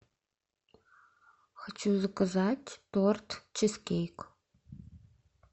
хочу заказать торт чизкейк